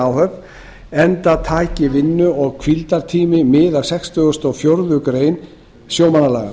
áhöfn enda taki vinnu og hvíldartími mið af sextugustu og fjórðu greinar sjómannalaga